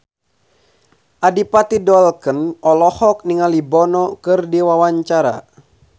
Adipati Dolken olohok ningali Bono keur diwawancara